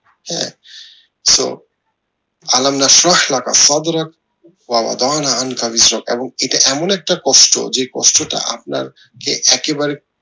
হ্যাঁ so এবং এটা এমন একটি কষ্ট যে কষ্ট টা আপনার যে একেবারে